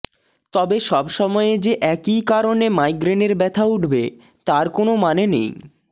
তবে সব সময়ে যে একই কারণে মাইগ্রেনের ব্যথা উঠবে তার কোনও মানে নেই